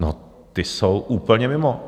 No, ti jsou úplně mimo.